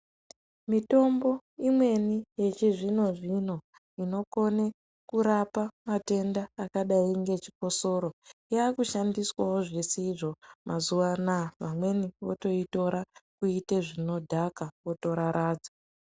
Mitombo imweni yechizvino zvino inokone kurapa matenda akadai neechikosoro yakushandiswawo zvisizvo mazuwa anaya vamweni votoitora kuita zvinodbaka votoraradza.